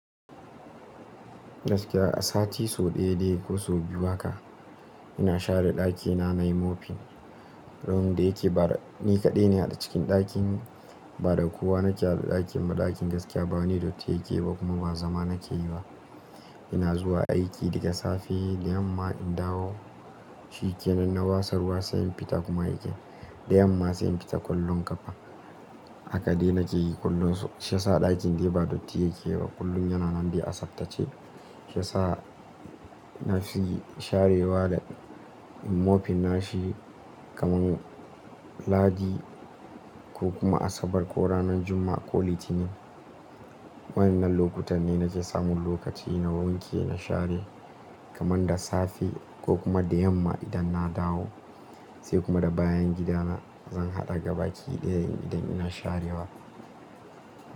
Gaskiya a sati sau ɗaya dai ko sau biyu haka ina share ɗakina na yi mopping. Room da yake bada ni kaɗai ne a cikin ɗakinmu. Ba da kowa na ke a ɗakin ba. Ɗakin gaskiya ba wani datti yake ba kuma ba zama na ke yi ba. Ina zuwa aiki daga safe da yamma in dawo, shi yake. Nan na watsa ruwa sai in fita kuma yake. Da yamma sai in fita kwallon ƙafa. Haka dai na ke yi kullum. Shi yasa ɗakin dai ba datti yake ba kullum. Yana nan dai a tsaftace. Shi yasa na fi sharewa da in mopping nashi kamar Lahadi ko kuma Asabar ko ranar Juma'a ko Litinin. Waɗannan lokutan ne na ke samun lokaci na wanke na share kamar da safe ko kuma da yamma idan na dawo. Sai kuma da bayan gidana zan haɗa gabaki ɗa ya idan ina sharewa.